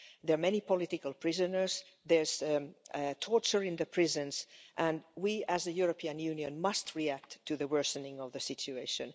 There are many political prisoners, there is torture in the prisons and we, as the European Union, must react to the worsening of the situation.